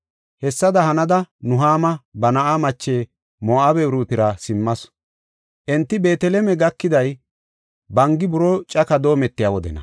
Hessada hanada Nuhaama ba na7aa mache Moo7abe Uruutira simmasu. Enti Beeteleme gakiday bangi buroo caka doometiya wodena.